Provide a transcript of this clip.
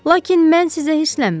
Lakin mən sizə hirslənmirəm.